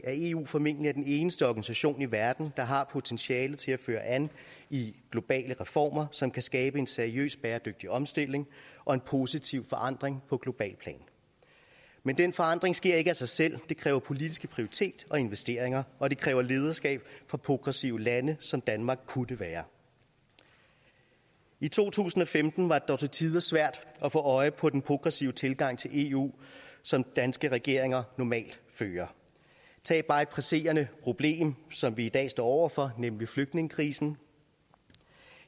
at eu formentlig er den eneste organisation i verden der har potentialet til at føre an i globale reformer som kan skabe en seriøs bæredygtig omstilling og en positiv forandring på globalt plan men den forandring sker ikke af sig selv det kræver politiske prioriteringer og investeringer og det kræver lederskab fra progressive lande som danmark kunne være i to tusind og femten var det dog til tider svært at få øje på den progressive tilgang til eu som danske regeringer normalt har tag bare et presserende problem som vi i dag står over for nemlig flygtningekrisen